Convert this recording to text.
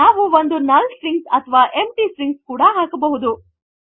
ನಾವು ಒಂದು null string ಅಥವಾ ಎಂಪ್ಟಿ ಸ್ಟ್ರಿಂಗ್ ಕೂಡ ಹಾಕಬಹುದು